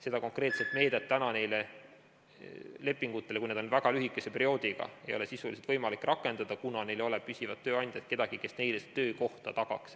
Seda konkreetset meedet täna nende lepingute suhtes, kui need on väga lühikese perioodiga, ei ole sisuliselt võimalik rakendada, kuna ei ole püsivat tööandjat, kedagi, kes töökohta tagaks.